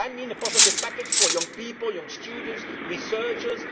decided? I mean a positive package for young people, young students and researchers.